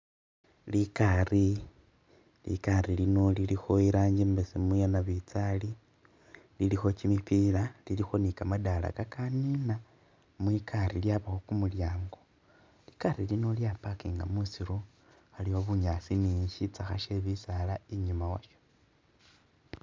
Likari likari lino lilikho irangi i'mbesemu yanabinzali lilikho kimipila lilikho ni kamadala kakanina mwikari lyabakho kumulyango likari lino lya'parkinga musiiru aliwo bunyaasi ni sitsakha she bisaala i'nyuma walyo